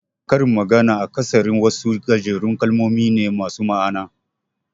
Karin magana akasari wasu gajerun kalmomi ne masu ma'ana.